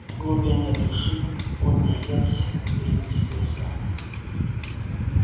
в глубине души пониетс перекрестился